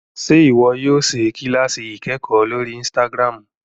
Ṣe iwọ yóò ṣe kilasi ikẹkọ lórí Instagram?